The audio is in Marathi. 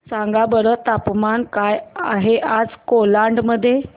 सांगा बरं तापमान काय आहे आज कोलाड मध्ये